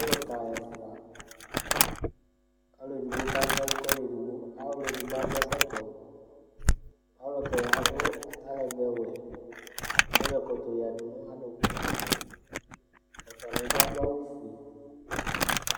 Ɔluka ɛfʋa: ɔluɛɖigbo kanyiɛlu kʋ ɔluɛɖigbo Ɔluɛɖigbo aɖu ɛkɔtɔ Ɔlukɛ aɖu alɛgbɛwɛ Ayɔ ɛkɔtɔ yaŋʋ aɖuku Ɛfʋaŋiɛbi aɖu awu fʋe